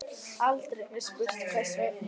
Aldrei er spurt hvers vegna.